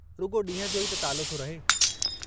रुॻो ॾींहुं जो ई त तालो थो रहे।